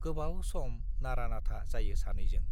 गोबाव सम नारा-नाथा जायो सानैजों।